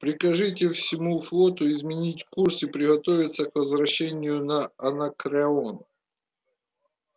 прикажите всему флоту изменить курс и приготовиться к возвращению на анакреон